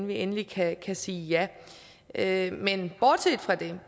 vi endeligt kan sige ja ja men bortset fra det